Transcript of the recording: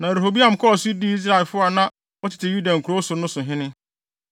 Na Rehoboam kɔɔ so dii Israelfo a na wɔtete Yuda nkurow so no so hene.